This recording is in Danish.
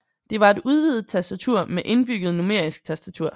Det var et udvidet tastatur med indbygget numerisk tastatur